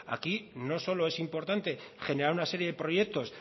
aquí no solo es importante generar una serie de proyectos